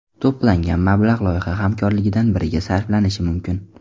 To‘plangan mablag‘ loyiha hamkorlaridan biriga sarflanishi mumkin.